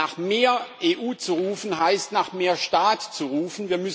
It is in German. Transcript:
Nach mehr EU zu rufen, heißt, nach mehr Staat zu rufen.